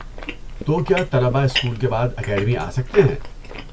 تو کیا طلبہ اسکول کے بعد اکیڈمی آ سکتے ہیں؟